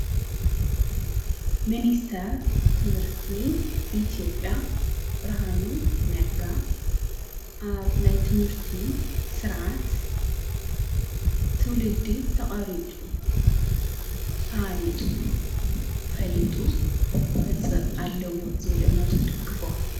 ምንስተር ትምህርቲ ኢቲኦጵያ ብርሃኑ ነጋ ኣብ ናይ ትምህርቲ ሥርዓት ትውልዲ ተቐሪጹ ተሃኒፁ ፈሊጡ ክወፅ ኣለዎት ዝብል እምነቱ ይድግፎ።